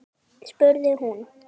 spurði hún.